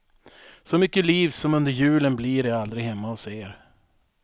Så mycket liv som under julen blir det aldrig hemma hos er.